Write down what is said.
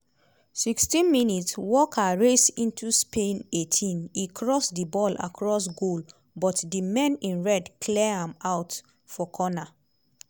16 mins - walker race into spain eighteen e cross di ball across goal but di men in red clear am out for corner.